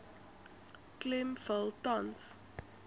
klem val tans